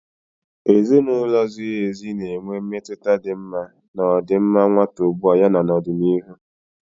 Ezinụlọ ziri ezi na-enwe mmetụta dị mma na ọdịmma nwata ugbu a ya na n'ọdịnihu.